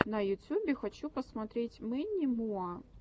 на ютюбе хочу посмотреть мэнни муа